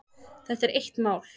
Þetta er eitt mál.